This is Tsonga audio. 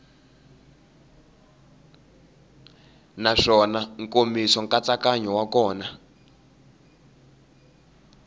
naswona nkomiso nkatsakanyo wa kona